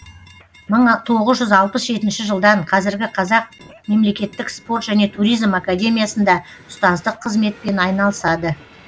мың тоғыз жүз алпыс жетінші жылдан қазіргі қазақ мемлекеттік спорт және туризм академиясында ұстаздық қызметпен айналысады